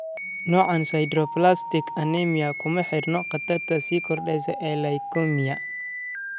Noocaan 'sideroblastic anemia' kuma xirna khatarta sii kordheysa ee leukemia.